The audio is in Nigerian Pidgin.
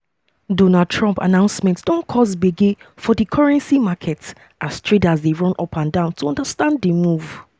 donald trump announcement don cause gbege for di currency markets as traders dey run upandan um to understand di move.